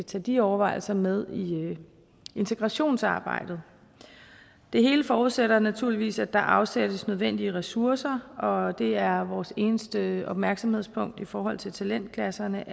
tage de overvejelser med i integrationsarbejdet det hele forudsætter naturligvis at der afsættes nødvendige ressourcer og det er vores eneste opmærksomhedspunkt i forhold til talentklasserne